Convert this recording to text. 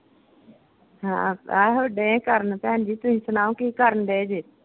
ਹਾਂ ਆਹੋ ਢਏ ਕਰਨ ਭੈਣ ਦੀ ਤੁਸੀਂ ਸੁਣਾਓ ਕੀ ਕਰਨ ਢਏ ਜੇ?